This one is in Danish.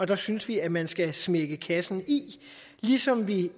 der synes vi at man skal smække kassen i ligesom vi